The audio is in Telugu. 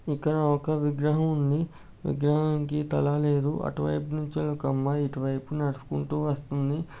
ఇక్కడ ఒక విగ్రహం ఉంది. విగ్రహనికి తల తల లేదు. అటు వైపు నుంచుని ఒక అమ్మాయి ఇటు వైపు నడుచుకుంటూ వస్తుంది.